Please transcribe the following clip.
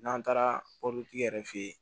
N'an taara mobilitigi yɛrɛ fɛ yen